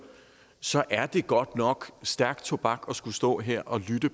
så er det godt nok stærk tobak at skulle stå her og lytte